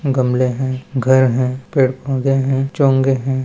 गमले है घर हैं पेड़ पौधे है चोंगे है।